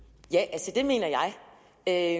at